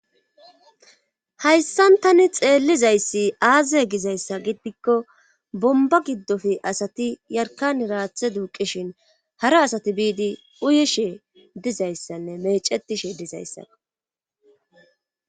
hayssan tani xeellizayssi aaze gizayssa giddikko bomba giddofi asati yarkan raathe duuqishin hara asati biidi uyishe dizayssanne mecetishe dizayssako